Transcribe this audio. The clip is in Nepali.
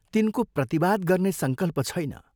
तिनको प्रतिवाद गर्ने संकल्प छैन।